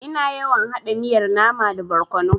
Ina yawan haɗa miyar nama da barkono.